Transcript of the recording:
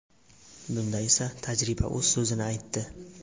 Bunda esa, tajriba o‘z so‘zini aytdi.